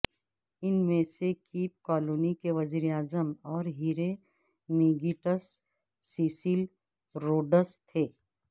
ان میں سے Cape Colony کے وزیر اعظم اور ہیرے میگیٹس سیسل روڈس تھے